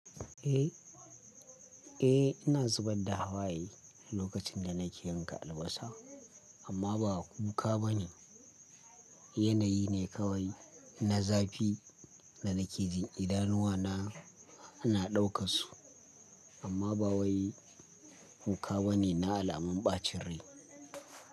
Eh, ina zubar da hawaye lokacin da nake yanka albasa, amma ba kuka bane. Yanayi ne kawai na zafi da nake jin idanuwa na ana ɗauka su, amma ba wai kuka bane na alamun ɓacin rai.